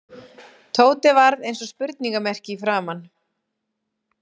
Tóti varð eins og spurningarmerki í framan.